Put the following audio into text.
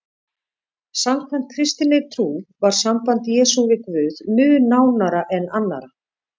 Samkvæmt kristinni trú var samband Jesú við Guð mun nánara en annarra.